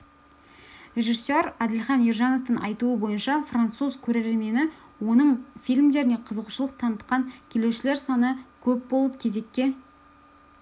режиссер әділхан ержановтың айтуы бойынша француз көрермені оның фильмдеріне қызығушылық танытқан келушілер саны көп болып кезеккке